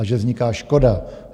A že vzniká škoda.